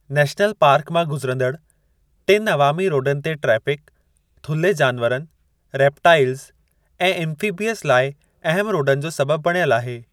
National park मां गुजिरंदड़ु टिनि अवामी रोडनि ते ट्रैफ़िक थुल्हे जानवरनि, रेपटाइलज़ ऐं एम्फ़ीबियंस लाइ अहम रोडनि जो सबबि बणियल आहे।